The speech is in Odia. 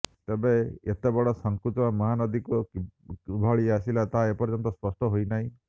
ତେବେ ଏତେବଡ ସାଙ୍କୁଚ ମହାନଦୀକୁ କିଭଳି ଆସିଲା ତାହା ଏପର୍ଯ୍ୟସ୍ତ ସ୍ପଷ୍ଟ ହୋଇନାହିଁ